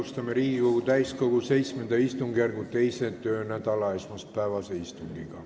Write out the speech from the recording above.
Alustame Riigikogu täiskogu VII istungjärgu 2. töönädala esmaspäevast istungit.